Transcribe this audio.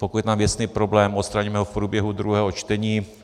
Pokud je tam věcný problém, odstraníme ho v průběhu druhého čtení.